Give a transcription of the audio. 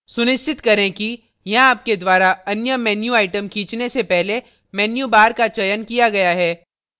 सुनिश्चित करें कि यहाँ आपके द्वारा अन्य menu item खींचने से पहले menu bar का चयन किया गया है